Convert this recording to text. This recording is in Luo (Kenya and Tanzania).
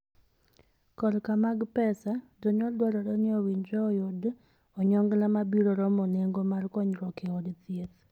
Korka mag pesa, jonyuol dwarore ni owinjre e yudo onyongla ma biro romo nengo mar konyruok e od thieth.